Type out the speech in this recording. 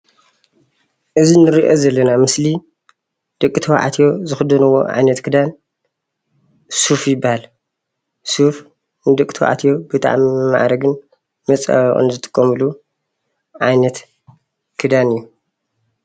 እዚ እንሪኦ ዘለና ምስሊ ደቅተባዕትዮ ዝኽደንዎ ዓይነት ኽዳን ሱፍ ይበሃል። ሱፍ ንደቅተባዕትዮ ብጣዕሚ መፀበቅን መማዕረግን ይጠቅም።